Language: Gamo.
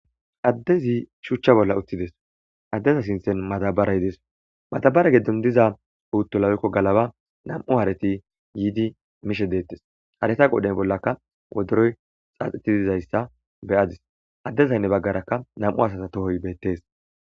Addezi shuchcha bolla uttides addeza sinthen matabara yidees matabara geddon diza uutto lawekko galaba nam'u haarati yiidi mishe deettes hareta qoden bollakka woderoy xaaxetidizayssa beyadis addez aynne baggaraka nam'u asasa tohoy bettees.